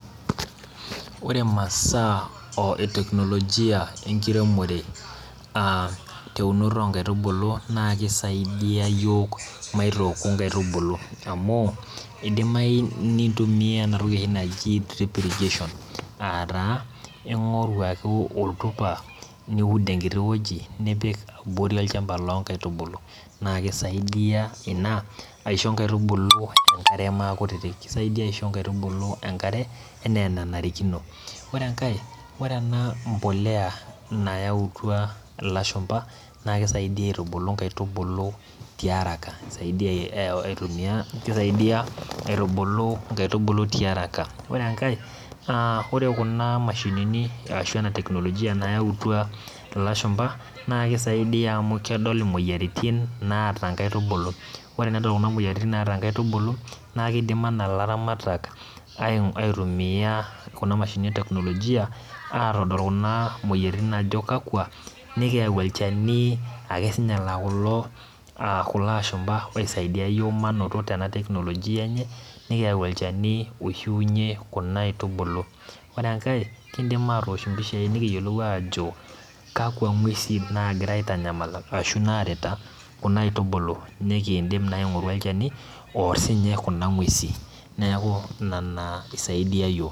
Ore masaa oeteknolojia enkiremore ateunoto onkaitubulu naa kisaidia yiook maitooku nkaitubulu amu idimayu nintumia enatoki oshi naji drip irrigation aataa ingoru ake oltupa , niud enkiti wueji, nipik abori olchamba loinkaetubulu naa kisaidia ina aisho nkaitubulu enakre maakutitik , kisaidia aisho nkaitubulu enkare enaa enanarikino . Ore enkae , ore ena mbolea nayautua ilashumba naa kisaidia aitubulu nkaitubulu tiaraka , kisaidia aitumia, kisaidia aitubulu nkaitubulu tiaraka . Ore enkae aa ore kuna mashinini ashu ena teknolojia ilashumba naa kisaidia amu kedol imoyiaritin naata nkaitubulu .Ore tenedol imoyiaritin naata nkaitubulu naa kidim anaa ilaramatak aitumia kuna mashinini eteknolojia atodol kuna moyiaritin ajo kakwa , nikiyau olchani akesinye laa kulo, kulo ashumba oisaidia yiok manoto tena teknolojia enye , nikiyau olchani oishiunyie kuna aitubulu. Ore enkae kidim atoosh mpishai nikiyiolou ajo kakwa ngwesi nagira aitanyamal ashu naarita kuna aitubulu, nikindim naa aingoru olchani oor sinye kuna ngwesi neaku ina isaidia yiok.